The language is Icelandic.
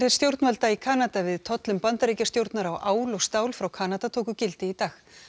stjórnvalda í Kanada við tollum Bandaríkjastjórnar á ál og stál frá Kanada tóku gildi í dag